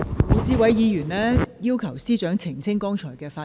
胡志偉議員要求司長澄清剛才的發言。